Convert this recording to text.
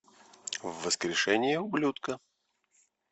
воскрешение ублюдка